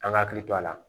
An ka hakili to a la